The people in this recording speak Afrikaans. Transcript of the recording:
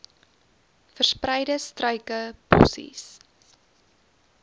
verspreide struike bossies